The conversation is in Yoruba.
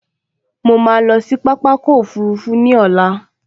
Mo ma lọ sí pápákọ̀ òfurufú ní ọ̀la